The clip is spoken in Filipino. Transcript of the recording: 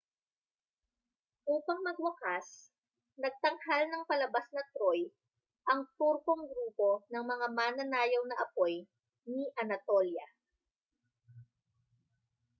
upang magwakas nagtanghal ng palabas na troy ang turkong grupo ng mga mananayaw na apoy ni anatolia